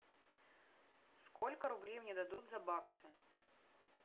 сколько рублей мне дадут за баксы